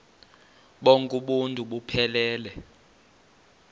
bonk uuntu buphelele